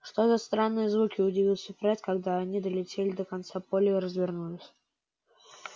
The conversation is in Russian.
что за странные звуки удивился фред когда они долетели до конца поля и развернулись